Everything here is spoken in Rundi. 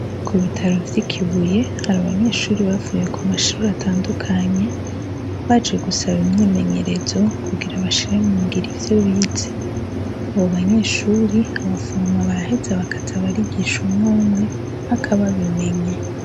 Ku bitaro vyi Kibuye, hari abanyeshuri bavuye ku mashuri atandukanye, baje gusaba imyimenyerezo kugira bashire mungiro ivyo bize abo banyeshuri abaforoma barahetse abakazi abarigisha umwe umwe mpaka babimenye.